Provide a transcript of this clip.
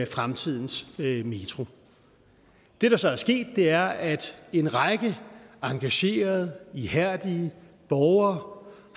fremtidens metro det der så er sket er at en række engagerede og ihærdige borgere